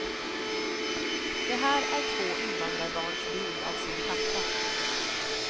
Det här är två invandrarbarns bild av sin pappa.